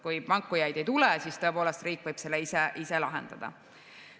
Kui pakkujaid ei tule, siis tõepoolest võib riik selle ise lahendada.